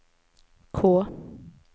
K